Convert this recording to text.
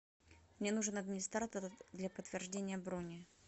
мне нужен администратор для подтверждения брони